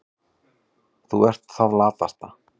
Þú ert það latasta.